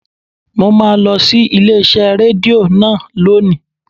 Mo máa lọ sí ilé iṣẹ́ Rédíò náà lónìí.